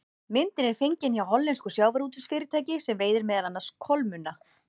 Myndin er fengin hjá hollensku sjávarútvegsfyrirtæki sem veiðir meðal annars kolmunna.